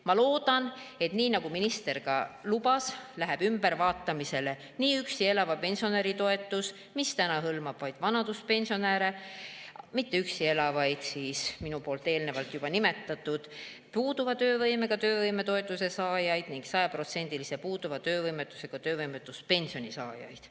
Ma loodan, et nagu minister ka lubas, läheb ümbervaatamisele nii üksi elava pensionäri toetus, mis praegu hõlmab vaid vanaduspensionäre, mitte üksi elavaid juba nimetatud puuduva töövõimega töövõimetoetuse saajaid ning sajaprotsendilise puuduva töövõimetusega töövõimetuspensioni saajaid.